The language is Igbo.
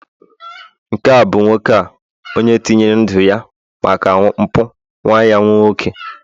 nke a bụ nwoke a, onye tinyere ndu ya maka mpụ nwa ya nwoke